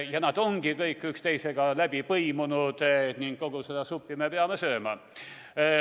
Ja nad kõik on üksteisega läbi põimunud ning kogu seda suppi me peame sööma.